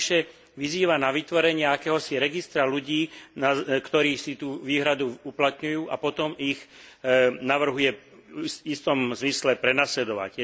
Navyše vyzýva na vytvorenie akéhosi registra ľudí, ktorí si tu výhradu uplatňujú a potom ich navrhuje v istom zmysle prenasledovať.